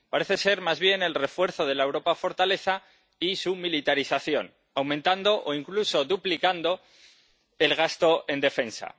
Parece ser más bien el refuerzo de la Europa fortaleza y su militarización, aumentando o, incluso, duplicando el gasto en defensa.